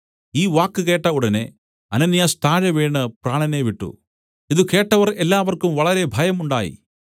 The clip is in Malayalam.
ഈ വാക്ക് കേട്ട ഉടനെ അനന്യാസ് താഴെ വീണ് പ്രാണനെ വിട്ടു ഇതു കേട്ടവർ എല്ലാവർക്കും വളരെ ഭയം ഉണ്ടായി